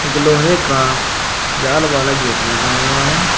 लोहे का जाल वाला गेट लगा हुआ है।